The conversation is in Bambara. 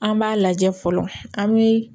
An b'a lajɛ fɔlɔ an bi